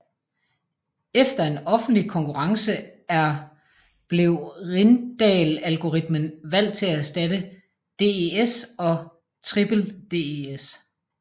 Efter en offentlig konkurrence er blev Rijndael algoritmen valgt til at erstatte DES og Triple DES